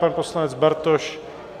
Pan poslanec Bartoš?